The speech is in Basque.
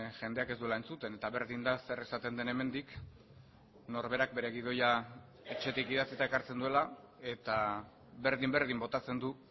jendeak ez duela entzuten eta berdin da zer esaten den hemendik norberak bere gidoia etxetik idatzita ekartzen duela eta berdin berdin botatzen du